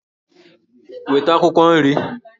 Weta akwukwo nri!